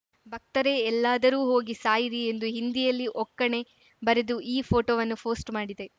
ಭಕ್ತರೇ ಎಲ್ಲಾದರೂ ಹೋಗಿ ಸಾಯಿರಿಎಂದು ಹಿಂದಿಯಲ್ಲಿ ಒಕ್ಕಣೆ ಬರೆದು ಈ ಪೋಟೋವನ್ನು ಫೋಸ್ಟ್‌ ಮಾಡಿದೆ